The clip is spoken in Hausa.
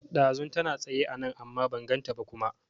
Ɗazun tana tsaye anan amma ban ganta ba kuma